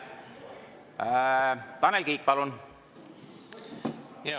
Tanel Kiik, palun!